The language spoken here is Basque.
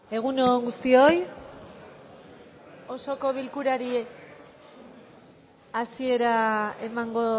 egun on guztioi osoko bilkurari hasiera emango